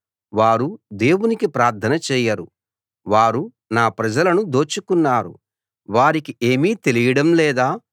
వారు దేవునికి ప్రార్థన చేయరు వారు నా ప్రజలను దోచుకున్నారు వారికి ఏమీ తెలియడం లేదా